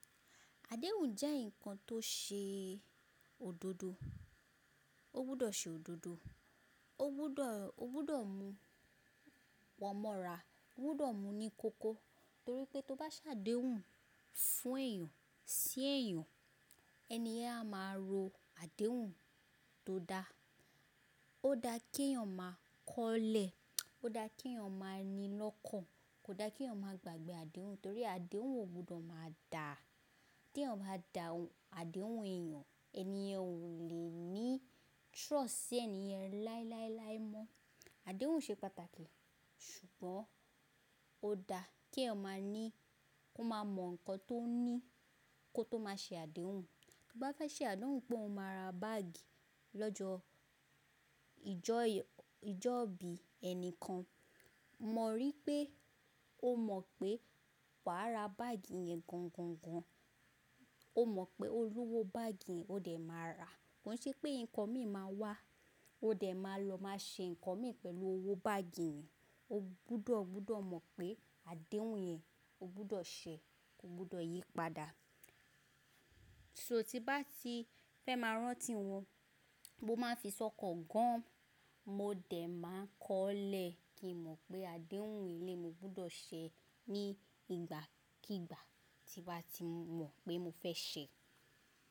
Àdéhùn jẹ́ ǹkan tó ṣe òdodo. Ó gbọ́dọ̀ ṣe òdodo, ó gbọ́dọ̀ mú pọ̀ mọ́ra, ó gbọ́dọ̀ mú ní koko torí pé tó bá ṣàdéhùn fún èèyàn, sí èèyàn, ẹni yẹn a máa ro àdéhùn tó dá. Ó da kí èèyàn máa kọ́lẹ̀, ó da kí èèyàn máa ní lọ́kàn. Kò da kí èèyàn máa gbàgbẹ́ àdéhùn torí àdéhùn ò gbọ́dọ̀ máa dà. Tí èèyàn bá dà àdéhùn èèyàn, ẹni yẹn ò lè ní trust sí ẹni yẹn láíláíláí mọ́. Àdéhùn ṣe pàtàkì ṣùgbọ́n ó da kí ẹ máa ní, kí o máa mọ ǹkan tó ní kó tó má ṣe àdéhùn. Tó bá fẹ́ ṣe àdéhùn pé o máa ra báàgì lọ́jọ́ ìjọ́ bí ẹnìkan, mo rí i pé o mọ̀ pé wàá ra báàgì yẹn gan gan gan. O mọ̀ pé olówó báàgì yẹn ó dẹ̀ máa ra. Kò ṣe pé ǹkan míì máa wá, ó dẹ̀ máa lọ máa ṣe ǹkan míì pẹ̀lú owó báàgì yẹn. O gbọ́dọ̀ mọ̀ pé àdéhùn yẹn o gbọ́dọ̀ ṣẹ̀, ko gbọ́dọ̀ yí padà. So tí bá ti fẹ́ máa rántí wọn, mo máa fi sọ́kọ̀ gan. Mo dẹ̀ máa kọ́lẹ̀ kí n mọ̀ pé àdéhùn ele mi ó gbọ́dọ̀ ṣẹ̀ ní ìgbàkígbà tí bá ti mọ̀ pé mo fẹ́ ṣẹ̀